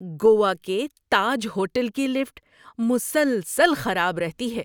گوا کے تاج ہوٹل کی لفٹ مسلسل خراب رہتی ہے۔